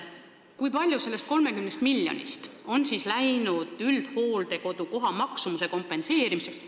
Kui palju sellest 30 miljonist on läinud üldhooldekodu koha maksumuse kompenseerimiseks.